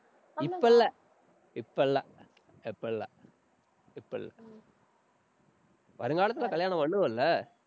இப்ப இல்ல, இப்ப இல்ல, இப்ப இல்ல, இப்ப இல்~ வருங்காலத்துல கல்யாணம் பண்ணுவ இல்ல?